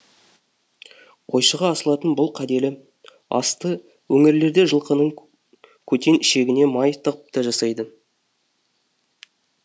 қойшыға асылатын бұл кәделі асты өңірлерде жылқының көтен ішегіне май тығып та жасайды